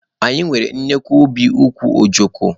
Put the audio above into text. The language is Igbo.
Anyị nwere nnukwu ubi ukwu ojoko